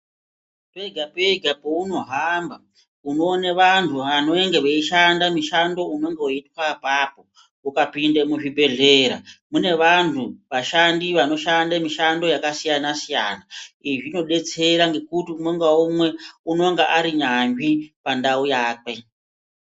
Pega pega peunohamba unoona vantu vanenge veishanda mushando unenga weitwa apapo ukapinde muzvibhedhlera mune vantu ashandi anoshanda mushando yakasiyana siyana izvi zvinodetsera ngekuti umwe naumwe unenga ari yanzvi pandau yakwe.